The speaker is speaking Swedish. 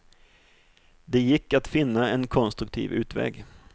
Det gick att finna en konstruktiv utväg.